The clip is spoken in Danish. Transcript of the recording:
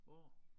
Hvor?